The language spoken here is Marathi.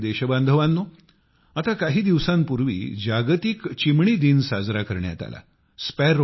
माझ्या प्रिय देशबांधवांनो आता काही दिवसांपूर्वी जागतिक चिमणी दिन साजरा करण्यात आला